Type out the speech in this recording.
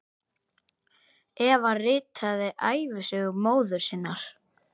Eva ritaði ævisögu móður sinnar.